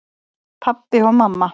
Pabbi og mamma